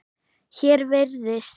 Hér virðist